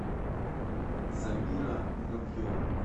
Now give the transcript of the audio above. замира муравьева